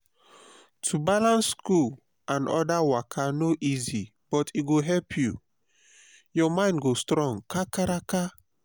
to balance school and other waka no easy but e go help you. ur mind go strong kakaraka.